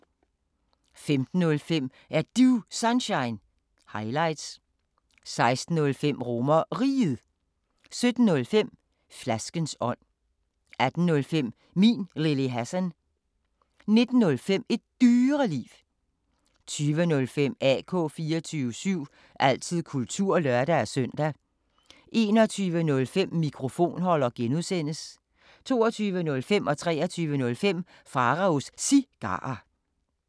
15:05: Er Du Sunshine – highlights 16:05: RomerRiget 17:05: Flaskens ånd 18:05: Min Lille Hassan 19:05: Et Dyreliv 20:05: AK 24syv – altid kultur (lør-søn) 21:05: Mikrofonholder (G) 22:05: Pharaos Cigarer 23:05: Pharaos Cigarer